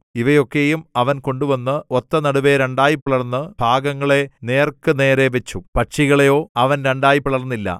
ഇവയെയൊക്കെയും അവൻ കൊണ്ടുവന്ന് ഒത്തനടുവെ രണ്ടായിപിളർന്ന് ഭാഗങ്ങളെ നേർക്കു നേരേ വച്ചു പക്ഷികളെയോ അവൻ രണ്ടായി പിളർന്നില്ല